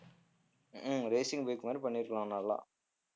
உம் ஹம் racing bike மாதிரி பண்ணியிருக்கலாம் நல்லா